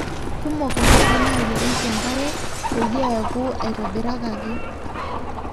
kumok ndaiki naayierieki enkare peyie eku aitobiraki